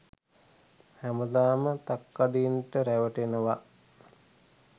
හැමදාම තක්කඩින්ට රැවටෙනව.